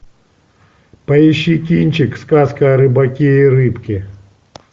поищи кинчик сказка о рыбаке и рыбке